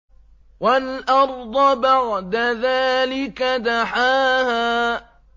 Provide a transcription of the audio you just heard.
وَالْأَرْضَ بَعْدَ ذَٰلِكَ دَحَاهَا